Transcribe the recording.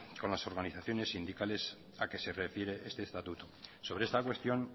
con las organizaciones sindicales a que se refiere este estatuto sobre esta cuestión